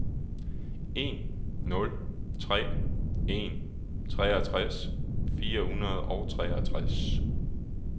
en nul tre en treogtres fire hundrede og treogtres